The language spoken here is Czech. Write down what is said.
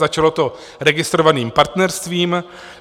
Začalo to registrovaným partnerstvím.